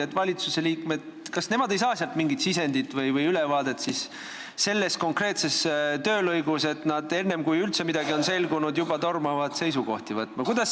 Kas valitsusliikmed ei saa sealt mingit sisendit või ülevaadet selles konkreetses töölõigus, et nad enne, kui üldse midagi on selgunud, juba tormavad seisukohti võtma?